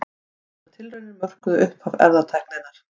Þessar tilraunir mörkuðu upphaf erfðatækninnar.